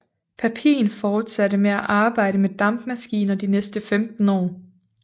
Papin fortsatte med at arbejde med dampmaskiner de næste 15 år